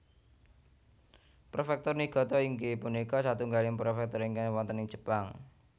Préfèktur Niigata inggih punika satunggaling prefektur ingkang wonten ing Jepang